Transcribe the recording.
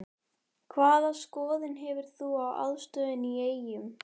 Hvaða skoðun hefur þú á aðstöðunni í Eyjum?